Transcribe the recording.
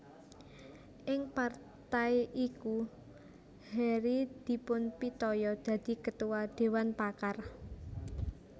Ing partai iku Hary dipunpitaya dadi Ketua Dewan Pakar